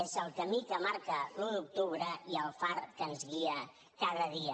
és el camí que marca l’un d’octubre i el far que ens guia cada dia